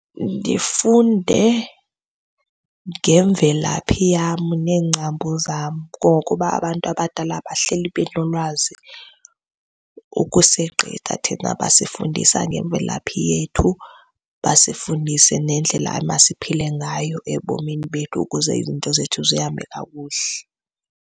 Ndifunde ngemvelaphi yam neengcambu zam ngokuba abantu abadala bahleli benolwazi ukusegqitha thina. Basifundisa ngemvelaphi yethu, basifundise nendlela emasiphile ngayo ebomini bethu ukuze izinto zethu zihambe kakuhle.